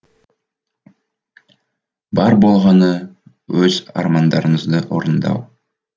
бар болғаны өз армандарыңызды орындау